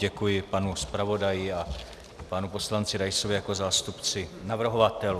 Děkuji panu zpravodaji a panu poslanci Raisovi jako zástupci navrhovatelů.